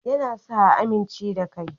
Ya na sa a amince da kai